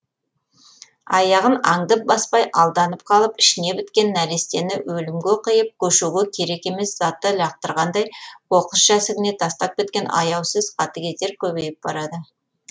аяғын аңдып баспай алданып қалып ішіне біткен нәрестені өлөмге қиып көшөге керек емес затты лақтырғандай қоқыс жәсігіне тастап кеткен аяусыз қатты кетер көбейіп барады